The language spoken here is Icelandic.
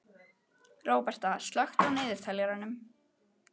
Róberta, slökktu á niðurteljaranum.